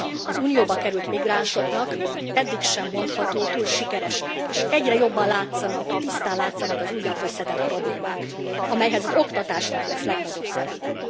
Az Unióba került migránsok integrálása eddig sem mondható túl sikeresnek, és egyre jobban látszanak, tisztán látszanak az újabb összetett problémák, amelyben az oktatásnak lesz legnagyobb szerepe.